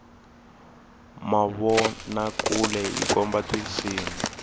mavonakule yi komba tisimu